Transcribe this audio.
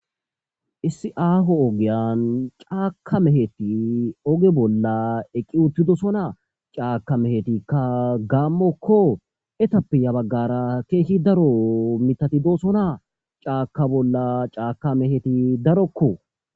issi aaho ogeyan caaka meheti oge bolla eqqi uttidosonaa caaka mehetikka gaammokko etappeya baggara keeshshi daro mitatidosonaa caaka bolla caaka meheti darokko